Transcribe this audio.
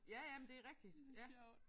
Ja ja men det rigtigt ja